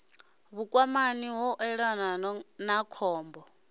vhukwamani u ṱolwa ha khombo